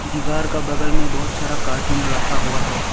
दीवार का बगल में बहुत सारा कार्टून रखा हुआ है।